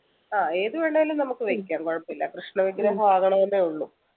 ആഹ് ഏത് വേണേലും നമുക്ക് വെക്കാം കുഴപ്പമില്ല കൃഷ്ണവിഗ്രഹം ആകണമെന്നേ ഉള്ളു